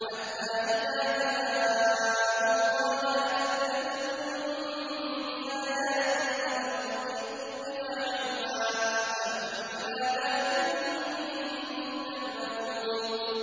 حَتَّىٰ إِذَا جَاءُوا قَالَ أَكَذَّبْتُم بِآيَاتِي وَلَمْ تُحِيطُوا بِهَا عِلْمًا أَمَّاذَا كُنتُمْ تَعْمَلُونَ